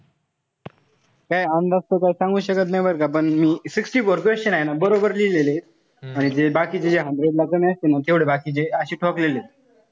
काई अंदाज तसा सांगू शकत नाई बरं का. पण मी sixty four हाये ना बरोबर लिहिलेलंत. आणि जे बाकीचे जे hundred ला कमी असतील ना तेव्हडे बाकीचे अशे ठोकलेले एत.